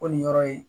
Ko nin yɔrɔ ye